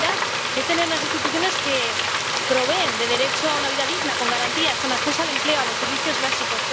Seguridad es tener unas instituciones que proporcionen derecho a una vida digna con garantías, con acceso al empleo, a los servicios básicos.